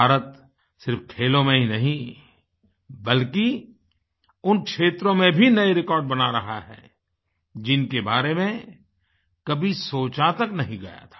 भारत सिर्फ खेलों में ही नहीं बल्कि उन क्षेत्रों में भी नए रिकॉर्ड बना रहा है जिनके बारे में कभी सोचा तक नहीं गया था